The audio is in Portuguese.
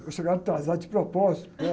Eu chegava atrasado de propósito, né?